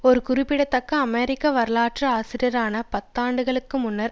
ஒரு குறிப்பிடத்தக்க அமெரிக்க வரலாற்று ஆசிரியரான பல பத்தாண்டுகளுக்கு முன்னர்